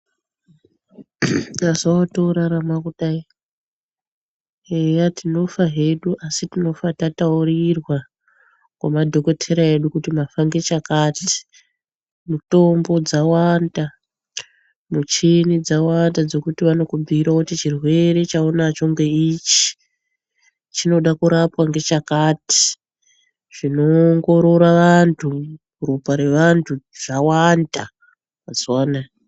Mazuwa otorarama kudai eya tinofa hedu asi tinofa tataurirwa ngemadhokodheya edu kuti mafa ngechakati ,mitombo dzawanda michini dzawanda dzekuti vanokubhuyire kuti chirwere chaunacho ngeichi ,chinoda kurapwa ngechakati zvinoongora vantu ropa revantu zvawanda mazuwa anaya.